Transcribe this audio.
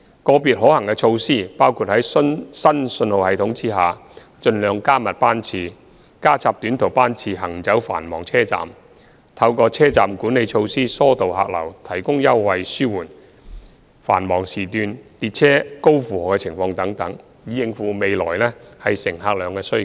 個別可行措施包括在新信號系統下盡量加密班次、加插短途班次行走繁忙車站、透過車站管理措施疏導客流、提供優惠紓緩繁忙時間列車高負荷情況等，以應付未來乘客量的需求。